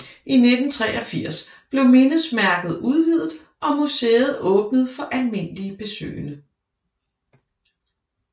I 1983 blev mindesmærket udviddet og museet åbnet for almindelige besøgende